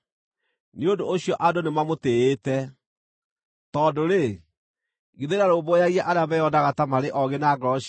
Nĩ ũndũ ũcio andũ nĩmamũtĩĩte, tondũ githĩ ndarũmbũyagia arĩa meyonaga ta marĩ oogĩ na ngoro ciao?”